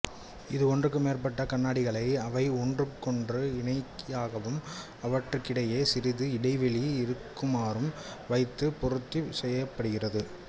இது ஒன்றுக்கு மேற்பட்ட கண்ணாடிகளை அவை ஒன்றுக்கொன்று இணையாகவும் அவற்றுக்கிடையே சிறிது இடைவெளி இருக்குமாறும் வைத்துப் பொருத்திச் செய்யப்படுகிறது